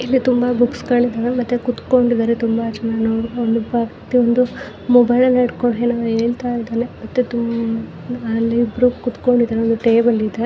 ಇಲ್ಲಿ ತುಂಬಾ ಬುಕ್ಸ್ ಗಳಿದವೇ ಮತ್ತೆ ತುಂಬಾ ಜನ ಕುತ್ಕೊಂಡಿದರೆ ನೋಡಬಹುದು ಪಕ್ಕದಲ್ಲಿ ಮೊಬೈಲ್ ಹಿಡ್ಕೊಂಡು ಏನೋ ಹೇಳ್ತಾ ಇದ್ದಾರೆ ಮತ್ತೆ ಅಲ್ಲಿ ಇಬ್ಬರು ಕೂತ್ಕೊಂಡಿದ್ದಾರೆ ಟೇಬಲ್ ಇದೆ.